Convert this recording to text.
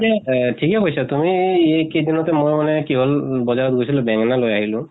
এহ ঠিকে কৈছা তুমি ই কেইদিন তে মই মানে কি হল বজাৰত গৈছিলো, বেঙ্গেনা লৈ আহিলো